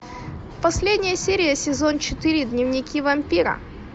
последняя серия сезон четыре дневники вампира